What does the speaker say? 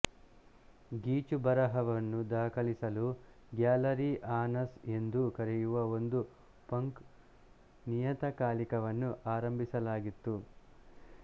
ಗೀಚುಬರಹವನ್ನು ದಾಖಲಿಸಲು gallery anus ಎಂದು ಕರೆಯುವ ಒಂದು ಪಂಕ್ ನಿಯತಕಾಲಿಕವನ್ನು ಆರಂಭಿಸಲಾಗಿತ್ತು